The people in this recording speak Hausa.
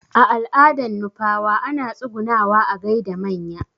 A al'adan nupawa ana tsugunawa a gaida manya